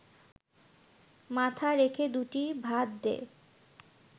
মাথা রেখে দুটি ভাত দে